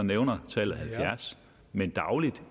nævner tallet halvfjerds men daglig